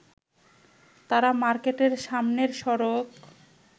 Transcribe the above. তারা মার্কেটের সামনের সড়ক